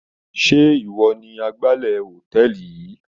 Sé ìwọ ni agbálẹ̀ hòtẹ́ẹ̀lì yìí?